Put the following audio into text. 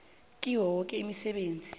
kiyo yoke imisebenzi